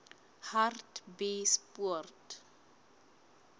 hartbeespoort